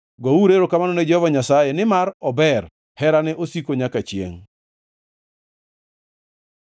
Gouru erokamano ne Jehova Nyasaye, nimar ober; herane osiko nyaka chiengʼ.